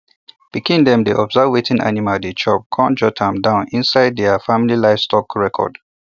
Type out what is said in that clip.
pikin dem dey observe wetin animal dey chop come jot am down inside their family livestock record